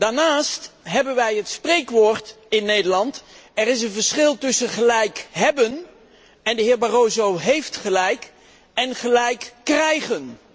Daarnaast hebben wij het spreekwoord in Nederland 'er is een verschil tussen gelijk hébben en de heer Barroso heeft gelijk en gelijk krijgen'.